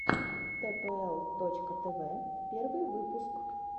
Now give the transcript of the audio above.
тпл точка тв первый выпуск